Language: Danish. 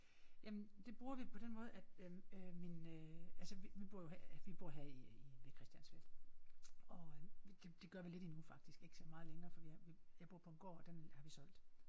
Jamen det bruger vi på den måde at øh øh min øh altså vi vi bor jo her ved vi bor her i i ved Christiansfeld og det det gør vi lidt endnu faktisk ikke så meget længere for vi har vi jeg bor på en gård og den har vi solgt